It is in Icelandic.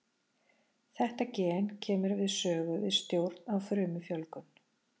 Þetta gen kemur við sögu við stjórn á frumufjölgun.